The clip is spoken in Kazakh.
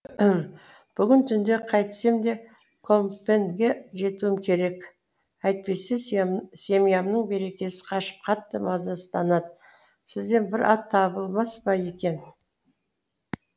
бүгін түнде қайтсем де компьенге жетуім керек әйтпесе семьямның берекесі қашып қатты мазасызданады сізден бір ат табылмас па екен